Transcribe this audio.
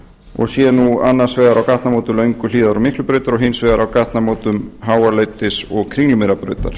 og sé nú annars vegar á gatnamótun lönguhlíðar og miklubrautar og hins vegar á gatnamótum háaleitis og